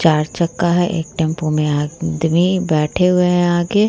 चार चका है एक टेम्पू में एक आदमी बैठे हुए हैं आके।